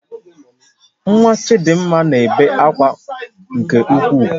Nwa Chidimma na-ebe akwa nke ukwuu